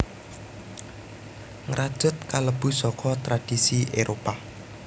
Ngrajut kalebu saka tradhisi Éropah